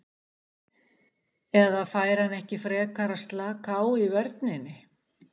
Eða fær hann ekki frekar að slaka á í vörninni?